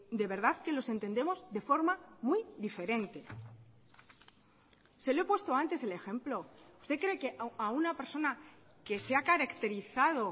de verdad que los entendemos de forma muy diferente se lo he puesto antes el ejemplo usted cree que a una persona que se ha caracterizado